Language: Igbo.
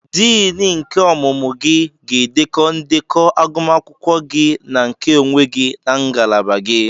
Diini nke ọmụmụ gị ga-edekọ ndekọ agụmakwụkwọ gị na nke onwe gị na ngalaba gị.